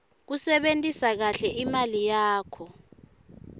kusebentisa kahle imali yakho